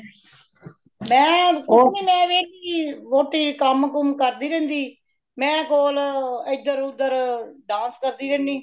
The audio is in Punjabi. ਮੈਂ ਕੁਛ ਨਹੀਂ , ਮੈ ਵੇਲੀ ਵੌਟੀ ਕੰਮ ਕੁਮ ਕਰਦੀ ਰਹਿੰਦੀ , ਮੇ ਕੋਲ ਏਧਰ ਉਦਰ dance ਕਰਦੀ ਰਹਿੰਦੀ